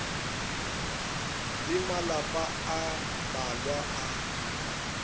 le malapa a mmalwa a